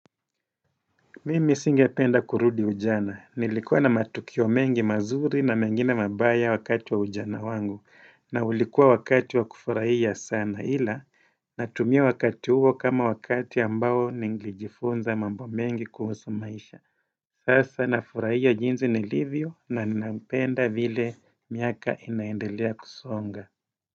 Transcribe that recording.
Mimi singependa kurudi ujana. Nilikuwa na matukio mengi mazuri na mengine mabaya wakati wa ujana wangu. Na ulikuwa wakati wa kufurahia sana. Hila, natumia wakati huo kama wakati ambao ningejifunza mambo mengi kuhusu maisha. Sasa nafurahia jinsi nilivyo na ninapenda vile miaka inaendelea kusonga.